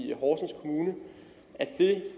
i horsens kommune er det